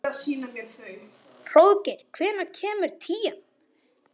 Hróðgeir, hvenær kemur tían?